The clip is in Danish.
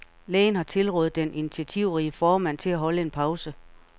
Lægen har tilrådet den initiativrige formand til at holde en pause, .